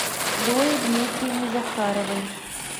зое дмитриевне захаровой